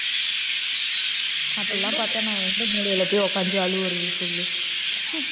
அப்படிலாம் பாத்தா நான் எந்த மூலைல போய் உக்காந்து அழுவுறது சொல்லு